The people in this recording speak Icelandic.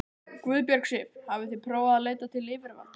Guðbjörg Sif: Hafið þið prófað að leita til yfirvalda?